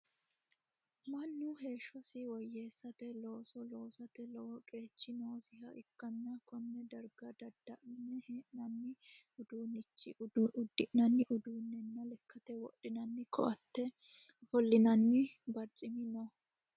Manu heeshosi woyeesate looso loosate lowo qeechi noosiha ikanna Kone darga dadalanni hee'noonni uduunichi udi'nanni uduunenna lekate wodhinnanni koatenna ofolinnanni barcimi no.